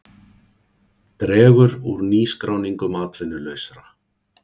Dregur úr nýskráningum atvinnulausra